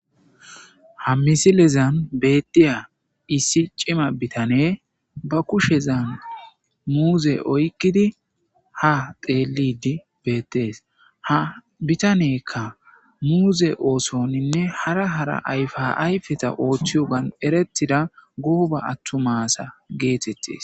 Ha misilezan bettiya issi cima bitane ba kushezan muuze oykkidi ha teelidi beettees ha bitanekka muuze oosoninne hara hara ayfa ayfeta ooththiyo gan eretida gooba attumasa geetettees.